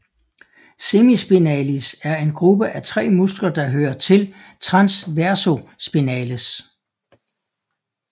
Semispinalis er en gruppe af tre muskler der hører til transversospinales